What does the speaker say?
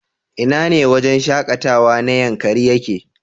Ina ne wajen shakatawa na Yankari yake?